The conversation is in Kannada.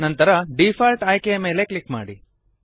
ನಂತರ ಡಿಫಾಲ್ಟ್ ಆಯ್ಕೆಯ ಮೇಲೆ ಕ್ಲಿಕ್ ಮಾಡಿ